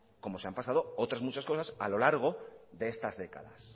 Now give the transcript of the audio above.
como se han pasado otras muchas cosas a lo largo de estas décadas